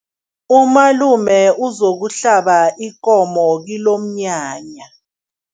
Umalume uzokuhlaba ikomo kilomnyanya.